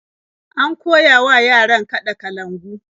An koya wa yaran kaɗa kalangu.